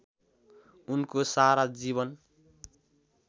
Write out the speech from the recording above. उनको सारा जीवन